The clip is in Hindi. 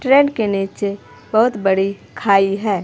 ट्रेन के नीचे बहोत बड़ी खाई है।